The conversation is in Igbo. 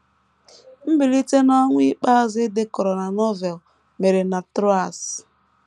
Mbilite n’ọnwụ ikpeazụ e dekọrọ na Novel mere na Troas.